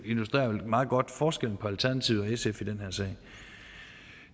illustrerer vel meget godt forskellen på alternativet og sf i den her sag